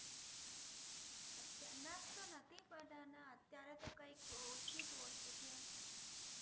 nurse તો નથી એ તો કંઈક ઓળખીતું